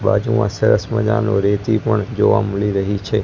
બાજુમાં સરસ મજાનુ રેતી પણ જોવા મળી રહી છે.